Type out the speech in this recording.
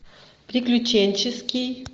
приключенческий